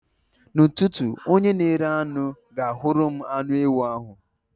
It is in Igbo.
N'ụtụtụ, onye na-ere anụ ga-ahụrụ m anụ ewu ahụ n'ọkụ.